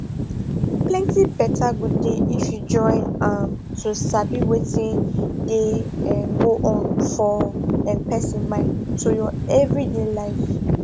plenty better go dey if you join um to sabi wetin dey um go on for um person mind to your everyday life